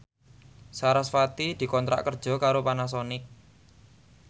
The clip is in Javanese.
sarasvati dikontrak kerja karo Panasonic